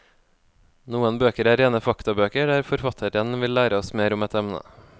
Noen bøker er rene faktabøker, der forfatteren vil lære oss mer om et emne.